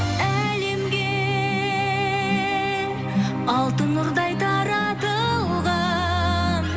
әлемге алтын нұрдай таратылған